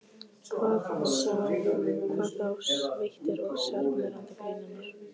Hvað þá sveittir og sjarmerandi grínarar.